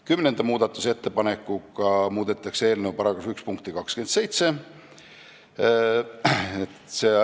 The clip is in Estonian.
Kümnenda muudatusettepanekuga muudetakse eelnõu § 1 punkti 27.